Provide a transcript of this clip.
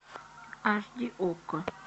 аш ди окко